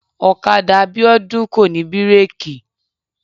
ọ̀kadà Bíọ́dún kò ní bírèkì